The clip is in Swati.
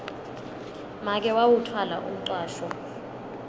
make wawutfwala umcwasho